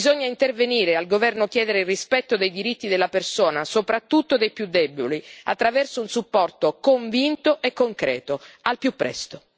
Bisogna intervenire, al governo chiedere il rispetto dei diritti della persona, soprattutto dei più deboli, attraverso un supporto convinto e concreto, al più presto.